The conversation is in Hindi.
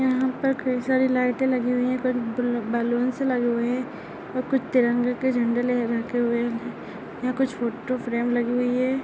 यहाँ पर कई सारी लाइटे लगी हुई है पअ अ बलूंस लगे हुए है और कुछ तिरंगे के झंडे लहराते हुए यह कुछ फोटो फ्रेम लगी हुई है।